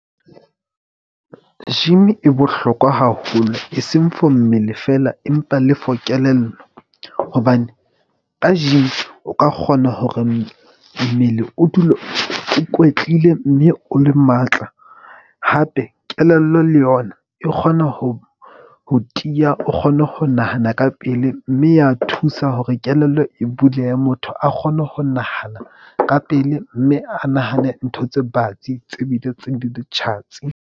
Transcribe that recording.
Gym-i e bohlokwa haholo e seng for mmele feela, empa le for kelello. Hobane ka gym o ka kgona hore mmele o dule o kwetlile mme o le matla hape. Kelello le yona e kgona ho ho tiya. O kgone ho nahana ka pele mme ya thusa hore kelello e bulehe. Motho a kgone ho nahana ka pele mme a nahane ntho tse batsi tse bile tse di le tjhatsi.